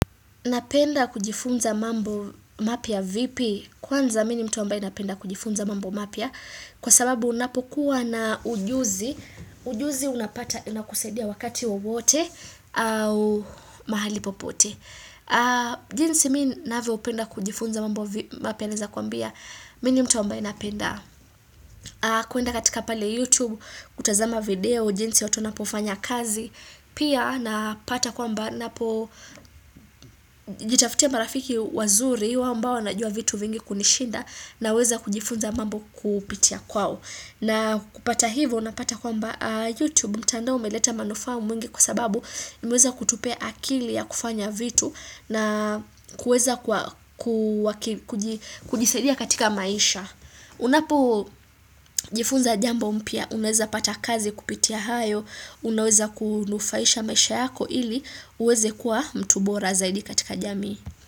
Napenda kujifunza mambo mapya vipi? Kwanza mi ni mtu ambaye napenda kujifunza mambo mapya Kwa sababu unapokuwa na ujuzi, ujuzi unapata inakusaidia wakati wowote au mahali popote jinsi mi navyopenda kujifunza mambo mapya naeza kuambia, mi ni mtu ambaye napenda kuenda katika pale youtube, kutazama video, jinsi watu wanapofanya kazi Pia napata kwamba napo jitafutia marafiki wazuri ambao wanajua vitu vingi kunishinda naweza kujifunza mambo kupitia kwao. Na kupata hivo napata kwamba YouTube mtandao umeleta manufaa mwingi kwa sababu imeweza kutupea akili ya kufanya vitu na kuweza kujisaidia katika maisha. Unapojifunza jambo mpya unaweza pata kazi kupitia hayo Unaweza kunufaisha maisha yako ili uweze kuwa mtu bora zaidi katika jamii.